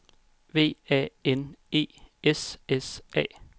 V A N E S S A